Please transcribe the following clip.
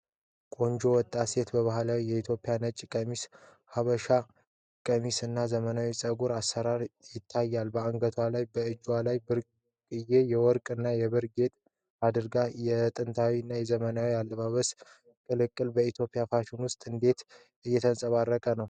ቆንጆ ወጣት ሴት በባህላዊ የኢትዮጵያ ነጭ ቀሚስ (ሀበሻ ቀሚስ) እና ዘመናዊ የፀጉር አሰራር ይታያል። በአንገቷ እና በእጇ ላይ ብርቅዬ የወርቅ እና የብር ጌጣጌጦችን አድርጋለች። የጥንታዊ እና ዘመናዊ የአለባበስ ቅልቅል በኢትዮጵያ ፋሽን ውስጥ እንዴት እየተንጸባረቀ ነው?